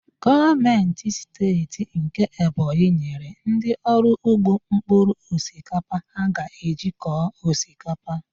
Gọọmentị Steeti nke Ebonyi nyere ndị ọrụ ugbo mpkụrụ osikapa ha ga-eji kọọ osikapa